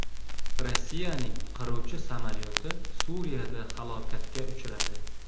Rossiyaning qiruvchi samolyoti Suriyada halokatga uchradi.